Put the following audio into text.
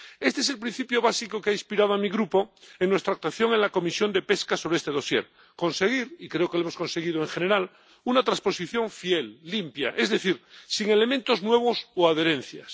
Este es el principio básico que ha inspirado a mi Grupo en nuestra actuación en la Comisión de Pesca sobre este dosier conseguir —y creo que lo hemos conseguido en general— una transposición fiel, limpia, es decir, sin elementos nuevos o adherencias.